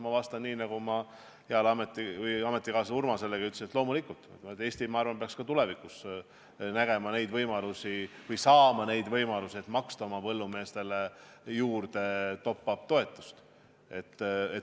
Ma vastan nii, nagu ma heale ametikaaslasele Urmaselegi ütlesin, et loomulikult Eesti, ma arvan, peaks ka tulevikus saama võimalusi, et maksta oma põllumeestele juurde top-up-toetust.